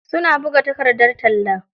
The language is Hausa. Suna buga takardar talla.